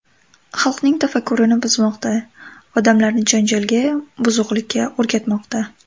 Xalqning tafakkurini buzmoqda, odamlarni janjalga, buzuqlikka o‘rgatmoqda.